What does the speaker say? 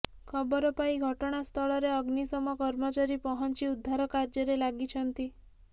ଖବର ପାଇ ଘଟଣାସ୍ଥଳରେ ଅଗ୍ନିଶମ କର୍ମଚାରୀ ପହଞ୍ଚି ଉଦ୍ଧାର କାର୍ଯ୍ୟରେ ଲାଗିଛନ୍ତି